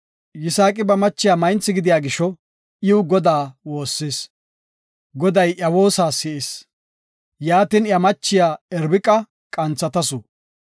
Yisaaqi ba machiya maynthi gidida gisho, iw Godaa woossis; Goday iya woosa si7is. Yaatin iya machiya Irbiqa qanthatasu.